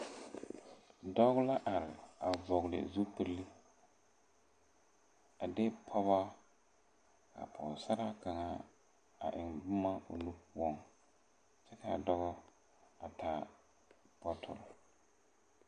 Dɔɔ la are a vɔgle zupile a de pɔgɔ ka pɔgsaraa kaŋa a eŋ bomma o nu poɔŋ kyɛ kaa dɔɔ a taa bɔtɔ.